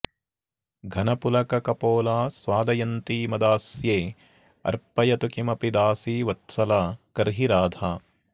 घनपुलककपोला स्वादयन्ती मदास्येऽ र्पयतु किमपि दासीवत्सला कर्हि राधा